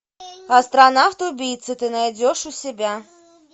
астронавт убийца ты найдешь у себя